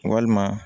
Walima